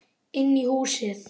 Inn í húsið?